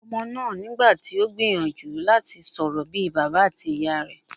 Ọmọ náà nígbà tí o gbìyànjú láti sọ̀rọ̀ bí I bàbá àti ìyá rẹ̀.